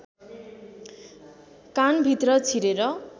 कानभित्र छिरेर